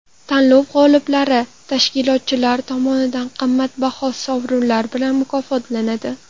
Tanlov g‘oliblari tashkilotchilar tomonidan qimmatbaho sovrinlar bilan mukofotlanadi.